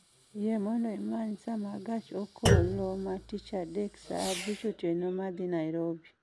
Yie mondo imany saa ma gach okoloma gach okoloma tich adek saa abich otieno ma dhi nairobi